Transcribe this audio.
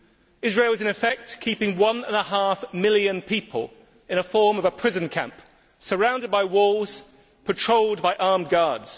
Israel is, in effect, keeping one and a half million people in a form of prison camp, surrounded by walls, patrolled by armed guards.